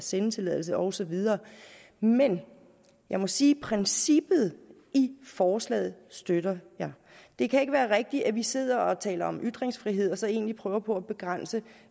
sendetilladelse og så videre men jeg må sige at princippet i forslaget støtter jeg det kan ikke være rigtigt at vi sidder og taler om ytringsfrihed og så egentlig prøver på at begrænse